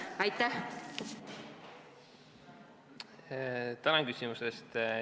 Tänan küsimuse eest!